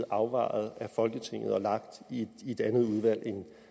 afvejet af folketinget og lagt i et andet udvalg